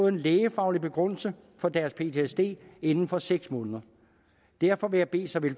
en lægefaglig begrundelse for deres ptsd inden for seks måneder derfor vil jeg bede såvel